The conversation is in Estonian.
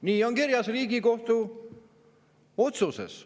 Nii on kirjas Riigikohtu otsuses.